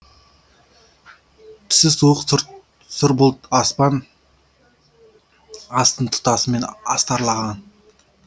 түсі суық сұр бұлт аспан астын тұтасымен астарлаған